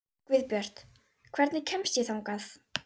Guðbjört, hvernig kemst ég þangað?